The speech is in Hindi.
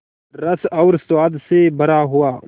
रस और स्वाद से भरा हुआ